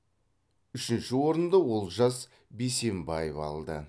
үшінші орынды олжас бейсенбаев алды